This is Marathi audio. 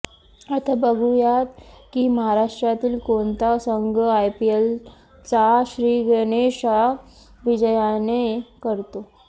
आता बघूयात की महाराष्ट्रातील कोणता संघ आयपीएलचा श्रीगणेशा विजयाने करतो